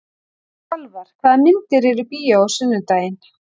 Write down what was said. Salvar, hvaða myndir eru í bíó á sunnudaginn?